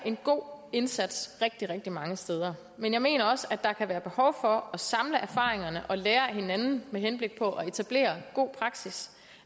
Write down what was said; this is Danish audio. en god indsats rigtig rigtig mange steder men jeg mener også der kan være behov for at samle erfaringerne og lære af hinanden med henblik på at etablere god praksis